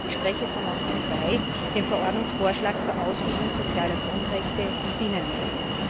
Ich spreche von Monti II, dem Verordnungsvorschlag zur Ausübung sozialer Grundrechte im Binnenmarkt.